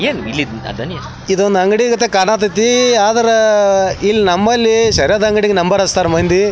ಏನ್ ಇಲ್ಲಿ ದನಿ ಈದ್ ಒಂದ್ ಅಂಗಡಿ ತರ ಕಾಣತೈತಿ ಆದ್ರ ಇಲ್ಲಿ ನಮ್ಮಲ್ಲಿ ಶೆರೇದ ಅಂಗಡಿಗ್ ನಂಬರ್ ಹಚ್ಚ್ತಾರ್ ಮಂದಿ.